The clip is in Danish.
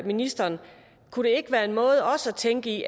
ministeren kunne det ikke være en måde også at tænke i